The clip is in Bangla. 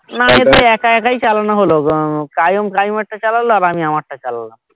না এবার একা একাই চালানো হলো গো কায়ুম কায়ুম এর টা চালালো আর আমি আমার টা চালালাম